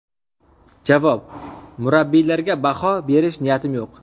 Javob: Murabbiylarga baho berish niyatim yo‘q.